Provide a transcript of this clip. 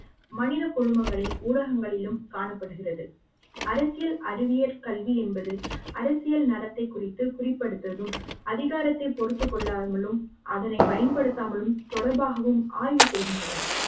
மனித குழுமங்களை ஊடங்களிலும் காணப்படுகிறது அரசியல் அறிவியல் கல்வி என்பது அரசியல் நடத்தை குறித்து குறிப்புப்படுத்துவதும் அதிகாரத்தை பொறுத்துக் கொள்ளாமலும் அதனை பயன்படுத்தாமலும் தொடர்பாகவும் ஆய்வு செய்கின்றன